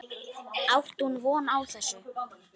Átti hún von á þessu?